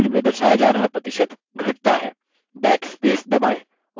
backspace दबाएँ और गलती मिटाएँ